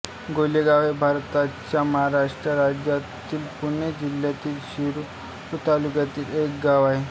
गोलेगाव हे भारताच्या महाराष्ट्र राज्यातील पुणे जिल्ह्यातील शिरूर तालुक्यातील एक गाव आहे